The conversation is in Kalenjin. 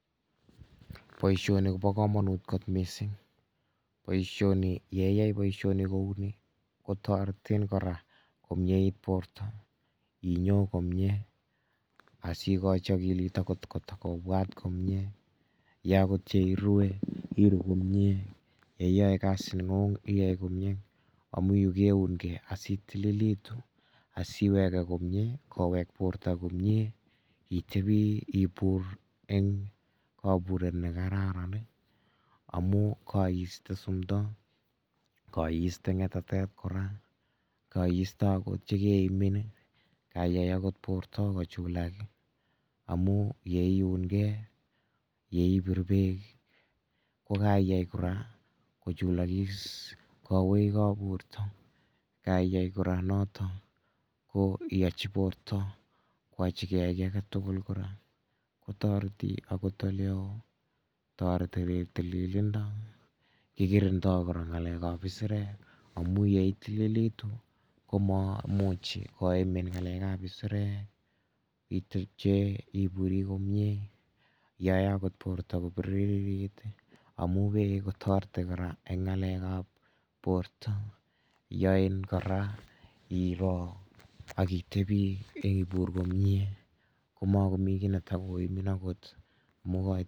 Boisioni kobo kamanut kot mising, boisioni ye iyai boisioni kou ni, kotoretin kora komyeit borta, inyo komie asikochi akilit akot kotokobwat komie, ye akot yeirue iru komie, ye iyoe kazinengung iyai komieng, amu yu keunkei asi itililitu asiweke komie, kowek borta komie, itebi ibur eng kaburet ne kararan ii, amu kaiste sumdo, kaiste ngetatet kora, kaiste akot che keimin ii, kaiyai akot borta kochulak ii, amu ye iunkei ye ibir beek ii, ko kaiyai kora kochulokis koweekab borta, kaiyai kora noto, ko iyochi borta kwachikei kiy age tugul kora, kotoreti akot ole oo, toreti irip tililindo, kikirindoi kora ngalekab isirek, amu ye itililitu ko mamuchi koimin ngalekab isirek, itebche iburi komie, yoe akot borta kobiririt amu beek kotoreti kora eng ngalekab borta, yoin kora iro ak itebi ibur komie, ko makomi kiy neta koimin angot amu.